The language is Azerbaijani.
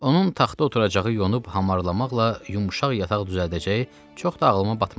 Onun taxta oturacağı yonub hamarlamaqla yumşaq yataq düzəldəcəyi çox da ağlıma batmadı.